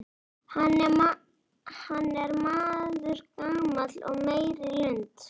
Hann er maður gamall og meyr í lund.